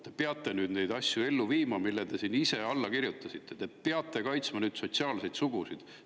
Te peate nüüd neid asju ellu viima, millele te ise olete siin alla kirjutanud, te peate nüüd kaitsma sotsiaalseid sugusid.